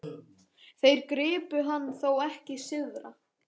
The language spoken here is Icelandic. Þeir gripu hann þó ekki syðra?